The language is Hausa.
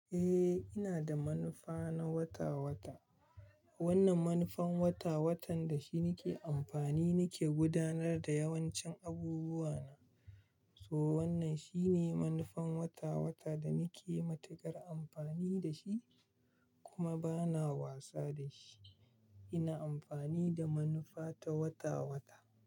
Eh, ina da manufa na wata-wata. Wannan manufan wata-watan da shi nike amfani nike gudanar da yawancin abubuwa na. So wannan shine manufan wata-wata da ni ke matukar amfani da shi kuma bana wasa da shi. Ina amfani da manufa ta wata-wata.